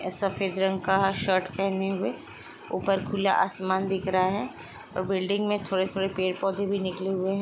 ऐ सफेद रंग का शर्ट पहने हुए हैं। ऊपर खुला आसमान दिख रहा हैं और बिल्डिंग में थोड़े-थोड़े पेड़-पौधे भी निकले हुए है।